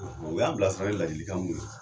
O y'an bila sɔrɔ ni ladilikan min ye